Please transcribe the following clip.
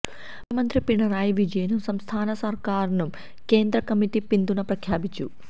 മുഖ്യമന്ത്രി പിണറായി വിജയനും സംസ്ഥാന സർക്കാരിനും കേന്ദ്ര കമ്മിറ്റി പിന്തുണ പ്രഖ്യാപിച്ചു